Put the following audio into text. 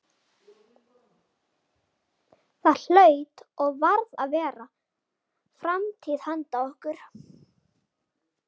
Það hlaut og varð að vera framtíð handa okkur.